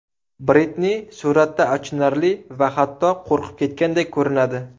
Britni suratda achinarli va hatto qo‘rqib ketgandek ko‘rinadi.